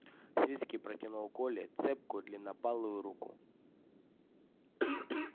свицкий протянул коле цепкую длиннопалую руку